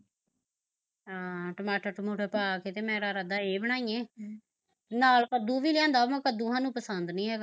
ਹਾਂ ਟਮਾਟਰ ਟਮੂਟਰ ਪਾਕੇ ਤੇ ਮੇਰਾ ਇਰਾਦਾ ਏਹ ਬਣਾਈਏ ਹਮ ਨਾਲ਼ ਕੱਦੂ ਵੀ ਲਿਆਂਦਾ ਵਾਂ ਪਰ ਕੱਦੂ ਸਾਨੂੰ ਪਸੰਦ ਨੀ ਹੈਗਾ